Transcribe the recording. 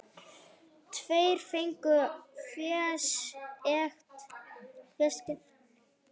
Tveir fengu fésekt.